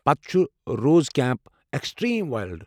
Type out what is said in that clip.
پتہٕ چھُ روز کیمپ، ایٚکِسٹریم ورلڑ